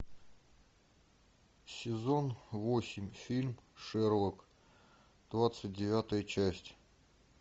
сезон восемь фильм шерлок двадцать девятая часть